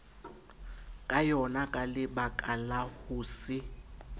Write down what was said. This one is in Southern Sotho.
ka yonaka lebakala ho se